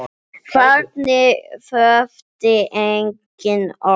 Þarna þurfti engin orð.